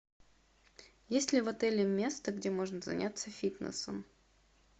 есть ли в отеле место где можно заняться фитнесом